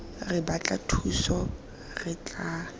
re batla thuso re tla